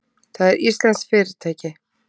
Það er íslenskt fyrirtæki.